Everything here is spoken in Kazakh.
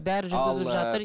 бәрі жүргізілір жатыр